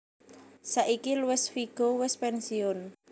Saiki Luis Figo wis pensiun